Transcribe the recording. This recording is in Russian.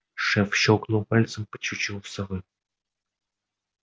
шеф щёлкнул пальцем по чучелу совы